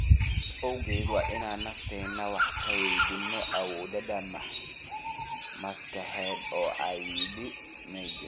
taas awgeed, waa inaan nafteena wax ka waydiino awoodooda maskaxeed," ayuu yidhi Migne.